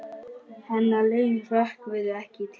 Hennar laun hrökkvi ekki til.